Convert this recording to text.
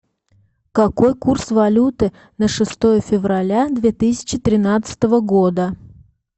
какой курс валюты на шестое февраля две тысячи тринадцатого года